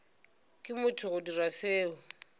ke motho go dira seo